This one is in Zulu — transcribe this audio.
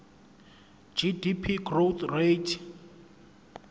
gdp growth rate